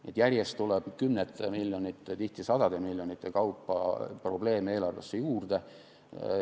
Nii et järjest tuleb kümnete miljonite, tihti sadade miljonite kaupa probleeme eelarvesse juurde.